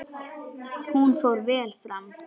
Hún fór vel fram.